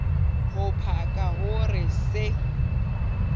ho paka ho re se